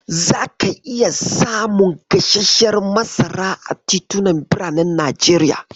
Zaka iya samun gasarshiyar masara a titunan biranen Najeriya.